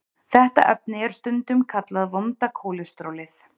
Þetta efni er stundum kallað vonda kólesterólið.